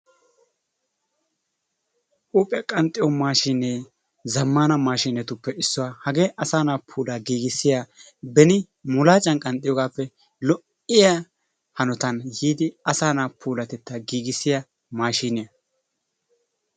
Huuphphiyaa qanxxiyoo maashshinee zaammaana maashshinetuppe issuwaa. Hagee asaa na'aa puulaa giigisiyaa beeni mulaacan qanxxiyoogappe lo"iyaa hanootan yiidi asaa na'aa puulaa giggisiyaa maashiniyaa.